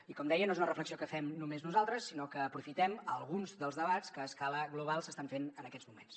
i com deia no és una reflexió que fem només nosaltres sinó que aprofitem alguns dels debats que a escala global s’estan fent en aquests moments